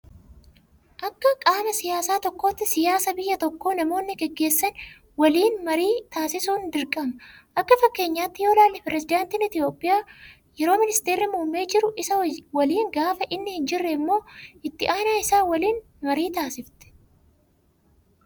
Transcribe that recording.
Akka qaama siyaasaa tokkootti siyaasa biyya tokkoo namoonni gaggeessan waliin marii taasisuun dirqama. Akka fakkeenyaatti yoo ilaalle pirezedaantiin Itoophiyaa yeroo ministeerri muummee jiru isa waliin gaafa inni hin jirre immoo itti aanaa isaa waliin marii taasifti.